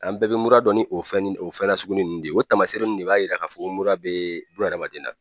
An bɛɛ bɛ mura dɔn ni o fɛn o fɛn nasuguni ninnu de ye, o taamasere ninnu de b'a yira k'a fɔ ko mura bɛ buna adamaden na.